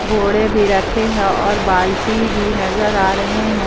बोड़े भी रखे हैं और बाल्टी भी नजर आ रहे हैं।